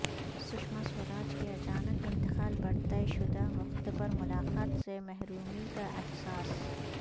سشماسوراج کے اچانک انتقال پر طئے شدہ وقت پر ملاقات سے محرومی کااحساس